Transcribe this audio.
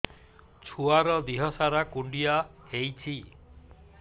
ଛୁଆର୍ ଦିହ ସାରା କୁଣ୍ଡିଆ ହେଇଚି